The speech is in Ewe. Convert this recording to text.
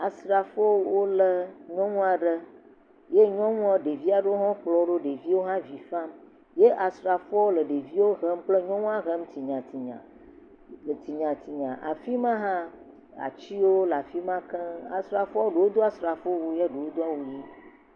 Asrafowo wole nyɔnu aɖe. Ye nyɔnua ɖevi aɖewo hã kplɔwo ɖo. Ɖeviawo hã avi fam ye asrafowo le ɖeviwo hem kple nyɔna hem tsinyatsinya tsinyatsinya. Afi ma hã atsiwo le afi ma keŋ. Asrafo ɖewo do asrafowowu bu..